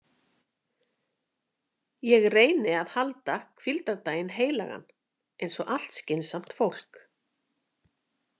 Ég reyni að halda hvíldardaginn heilagan eins og allt skynsamt fólk.